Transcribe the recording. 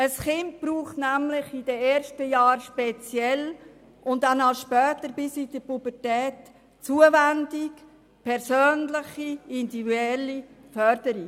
Ein Kind braucht in den ersten Jahren speziell und danach bis in die Pubertät Zuwendung sowie persönliche, individuelle Förderung.